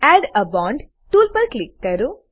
add a bond tool પર click કરો